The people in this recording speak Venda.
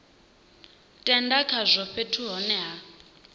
tenda khazwo fhethu hune ha